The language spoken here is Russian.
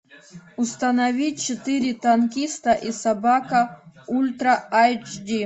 установи четыре танкиста и собака ультра айч ди